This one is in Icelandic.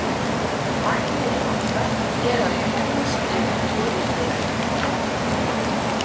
Markmiðið okkar er að komast upp úr riðlinum.